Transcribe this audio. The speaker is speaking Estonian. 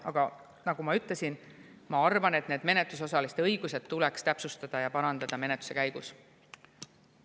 Aga nagu ma ütlesin, ma arvan, et neid menetlusosaliste õigusi tuleks täpsustada ja menetluse käigus parandada.